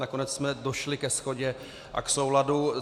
Nakonec jsme došli ke shodě a k souladu.